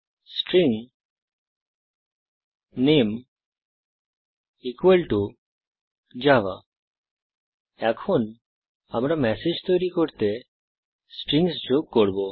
string নামে Java এখন আমরা ম্যাসেজ তৈরী করতে স্ট্রিংস যোগ করব